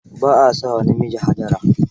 Ba a sa wa namiji Hajara.